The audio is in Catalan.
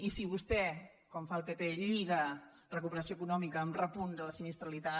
i si vostè com fa el pp lliga recuperació econòmica amb repunt de la sinistralitat